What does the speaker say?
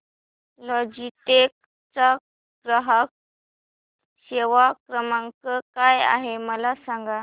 Logitech चा ग्राहक सेवा क्रमांक काय आहे मला सांगा